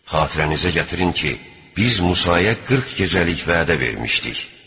Xatirənizə gətirin ki, biz Musaya 40 gecəlik vədə vermişdik.